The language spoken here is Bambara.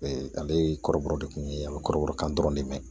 ale ye kɔrɔbɔrɔ de kun ye a be kɔrɔbɔrɔ kan dɔrɔn de mɛn